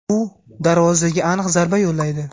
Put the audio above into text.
u darvozaga aniq zarba yo‘llaydi.